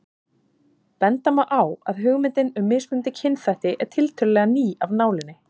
Benda má á að hugmyndin um mismunandi kynþætti er tiltölulega ný af nálinni.